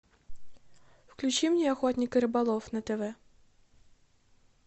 включи мне охотник и рыболов на тв